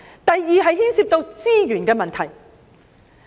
第二，這牽涉到資源的問題。